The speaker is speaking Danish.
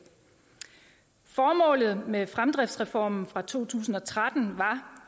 formålet med fremdriftsreformen fra to tusind og tretten var